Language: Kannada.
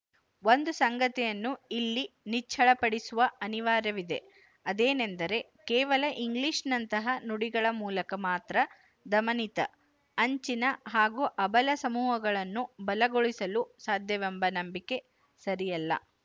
ಒಂದು ಸಂಗತಿಯನ್ನು ಇಲ್ಲಿ ನಿಚ್ಚಳಪಡಿಸುವ ಅನಿವಾರ್ಯವಿದೆ ಅದೇನೆಂದರೆ ಕೇವಲ ಇಂಗ್ಲಿಶಿನಂತಹ ನುಡಿಗಳ ಮೂಲಕ ಮಾತ್ರ ದಮನಿತ ಅಂಚಿನ ಹಾಗೂ ಅಬಲ ಸಮೂಹಗಳನ್ನು ಬಲಗೊಳಿಸಲು ಸಾಧ್ಯವೆಂಬ ನಂಬಿಕೆ ಸರಿಯಲ್ಲ